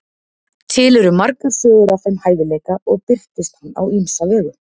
til eru margar sögur af þeim hæfileika og birtist hann á ýmsa vegu